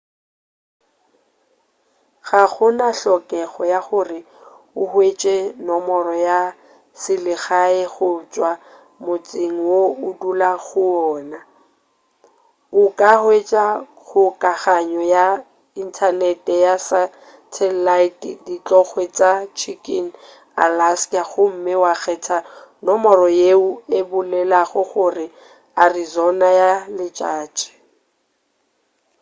ga gona hlokego ya gore o hwetše nomoro ya selegae go tšwa motseng wo o dulago go wona o ka hwetša kgokaganyo ya inthanete ya satalaete dithokgwe tša chicken alaska gomme wa kgetha nomoro yeo e bolelago gore o arizona ya letšatši